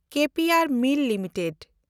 K P and mill limited